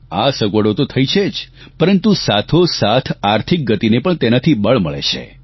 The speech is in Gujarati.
આ સગવડો તો થઇ છે જ પરંતુ સાથોસાથ આર્થિક ગતિને પણ તેનાથી બળ મળે છે